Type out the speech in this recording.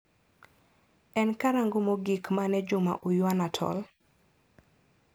En karang'o mogik mane Juma uyuana tol?